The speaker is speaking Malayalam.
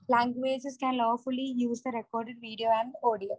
languages can lawfully use the recorded video and audio